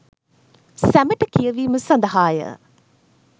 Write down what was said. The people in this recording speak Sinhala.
සැමට කියවීම සඳහාය